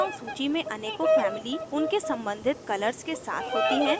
drop down सूची में अनेकों families उनके सम्बंधित colors के साथ होती हैं